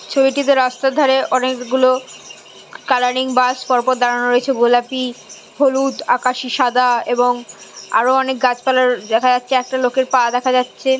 ছবিটিতে রাস্তার ধারে অনেকগুলো কালারিং বাস পরপর দাঁড়ানো রয়েছে গোলাপি হলুদ আকাশি সাদা এবং আরো অনেক গাছপালার দেখা যাচ্ছে একটা লোকের পা দেখা যাচ্ছে।